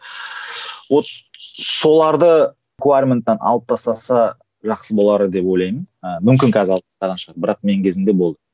вот соларды алып тастаса жақсы болар еді деп ойлаймын ы мүмкін қазір алып тастаған шығар бірақ менің кезімде болды